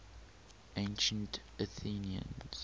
ancient athenians